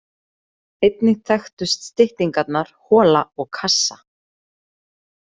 Einnig þekktust styttingarnar hola og kassa.